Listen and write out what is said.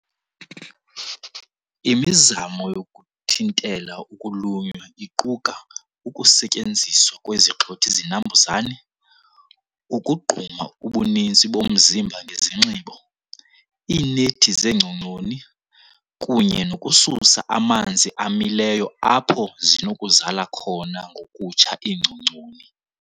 Imizamo yokuthintela ukulunywa iquka ukusetyenziswa kwezigxothi-zinambuzane, ukugquma ubuninzi bomzimba ngesinxibo, iinethi zeengcongconi, kunye nokususa amanzi amileyo apho zinokuzala khona ngokutsha iingcongconi.